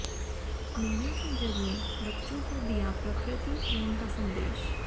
मेले के जरिए बच्चों को दिया प्रकृति प्रेम का संदेश